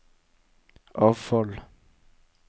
avfall